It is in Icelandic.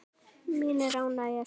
Mín er ánægjan svaraði ég.